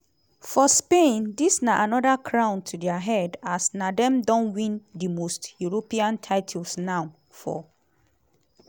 for spain dis na anoda crown to dia head as na dem don win di most european titles now - four.